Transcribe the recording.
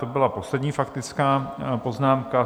To byla poslední faktická poznámka.